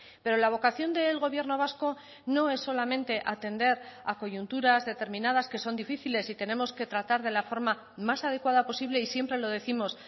pero la vocación del gobierno vasco no es solamente atender a coyunturas determinadas que son difíciles y tenemos que tratar de la forma más adecuada posible y siempre lo décimos